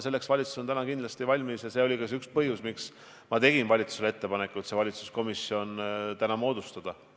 Selleks on valitsus kindlasti valmis ja see oli ka üks põhjus, miks ma tegin valitsusele ettepaneku see valitsuskomisjon täna moodustada.